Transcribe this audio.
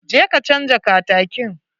Je ka canja katakin.